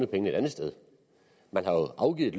pengene et andet sted man har jo afgivet